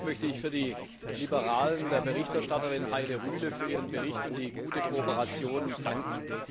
Zunächst möchte ich im Namen der Liberalen der Berichterstatterin Heide Rühle für ihren Bericht und die gute Kooperation danken.